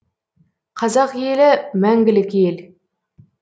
қазақ елі мәңгілік ел